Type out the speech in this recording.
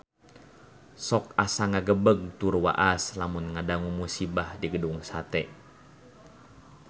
Sok asa ngagebeg tur waas lamun ngadangu musibah di Gedung Sate